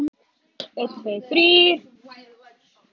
Hvað það var gott að vera til þegar allt lék svona í lyndi.